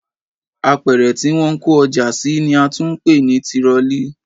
Apẹ̀rẹ̀ tí wọ́n ń kó ọjà sí ni a tún ń pè ní tirọlí